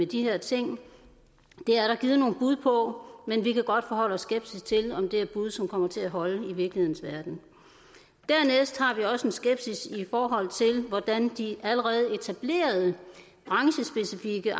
de her ting det er der givet nogle bud på men vi kan godt forholde os skeptisk til om det er bud som kommer til at holde i virkelighedens verden dernæst har vi også en skepsis i forhold til hvordan de allerede etablerede branchespecifikke